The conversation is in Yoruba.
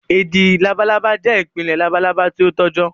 ẹdin làbàlábá jẹ́ ipele làbàlábá ti o tọjọ